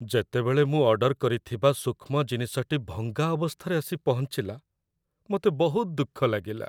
ଯେତେବେଳେ ମୁଁ ଅର୍ଡର କରିଥିବା ସୂକ୍ଷ୍ମ ଜିନିଷଟି ଭଙ୍ଗା ଅବସ୍ଥାରେ ଆସି ପହଞ୍ଚିଲା, ମୋତେ ବହୁତ ଦୁଃଖ ଲାଗିଲା।